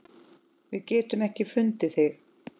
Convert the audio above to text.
Við getum ekki fundið þig.